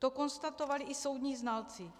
To konstatovali i soudní znalci.